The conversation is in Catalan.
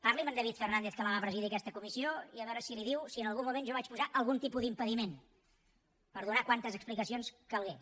parli amb en david fernàndez que la va presidir aquesta comissió i a veure si li diu si en algun moment jo vaig posar algun tipus d’impediment per donar quantes explicacions calgués